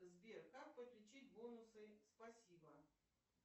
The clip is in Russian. сбер как подключить бонусы спасибо